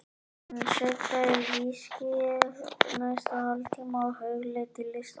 Hann sötraði viskíið næsta hálftímann og hugleiddi listann.